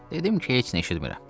Dedim ki, heç nə eşitmirəm.